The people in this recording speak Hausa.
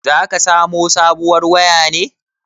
Zaka samo sabuwar waya ne?